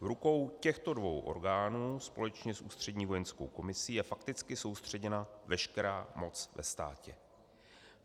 V rukou těchto dvou orgánů společně s Ústřední vojenskou komisí je fakticky soustředěna veškerá moc ve státě.